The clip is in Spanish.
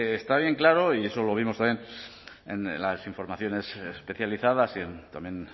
está bien claro y eso lo vimos también en las informaciones especializadas y también